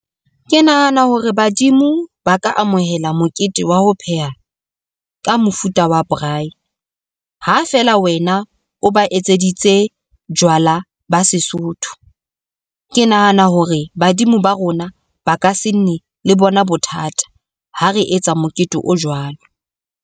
Ke nahana hore badimo ba ka amohela mokete wa ho pheha, ka mofuta wa braai, ha feela wena o ba etseditse jwala ba Sesotho. Ke nahana hore badimo ba rona ba ka se nne le bona bothata. Ha re etsa mokete o jwalo.